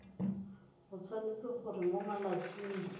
o tshwanetse gore mo malatsing